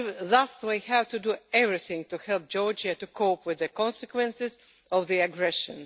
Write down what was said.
Thus, we have to do everything to help Georgia to cope with the consequences of the aggression.